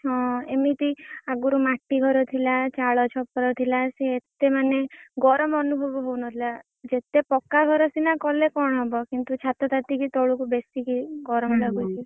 ହଁ ଏମିତି ମାଟି ଘର ଥିଲା ଚାଲ ଛପର ଥିଲା ସିଏ ଏତେ ମାନେ ଗରମ୍ ଅନୁଭବ ହଉନଥିଲା। ଯେତେ ପକ୍କା ଘର ସିନା କଲେ କଣ ହବ କିନ୍ତୁ ଛାତ ତାତିକି ତଳକୁ ବେଶୀକି ଗରମ୍ ଲାଗୁଛି।